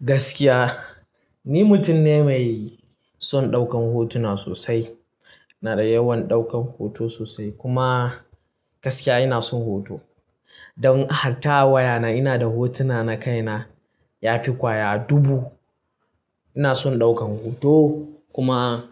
Gaskiya ni mutum ne mai son ɗaukan hotuna sosai. Na da yawan ɗaukan hoto sosai kuma gaskiya ina son hoto. Don hatta a wayana ina da hotuna na kaina ya fi kwaya dubu. Ina son ɗaukar hoto kuma